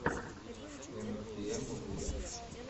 эмтиэмвуд